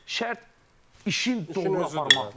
Şərt işin doğru aparmaqdır.